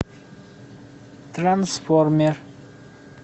трансформер